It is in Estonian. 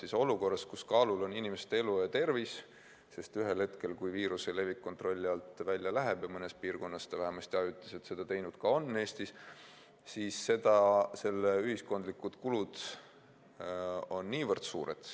Aga olukorras, kus kaalul on inimeste elu ja tervis, sest ühel hetkel, kui viiruse levik kontrolli alt välja läheb – ja mõnes Eesti piirkonnas ta vähemasti ajutiselt ongi seda teinud –, on selle ühiskondlikud kulud väga suured.